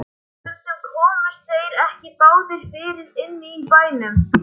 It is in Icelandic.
Og stundum komust þeir ekki báðir fyrir inni í bænum.